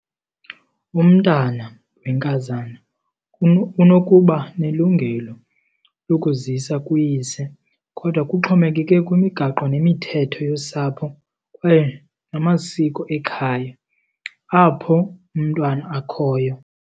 Umntana wenkazana unokuba nelungelo lokuzisa kuyise kodwa kuxhomekeke kwimigaqo nemithetho yosapho kwaye namasiko ekhaya apho umntwana akhoyo.